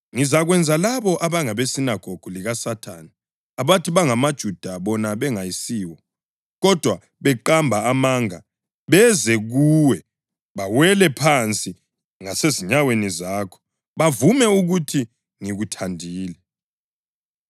Ngizakwenza labo abangabesinagogu likaSathane, abathi bangamaJuda bona bengayisiwo, kodwa beqamba amanga beze kuwe bawele phansi ngasezinyaweni zakho bavume ukuthi ngikuthandile.